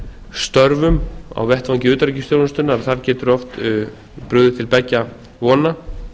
störfum á vettvangi utanríkisþjónustunnar getur oft brugðist til beggja vona